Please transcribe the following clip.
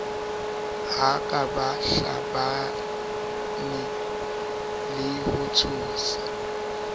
hakatsa bahlabani le ho tshosa